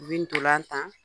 U bi ntolatan.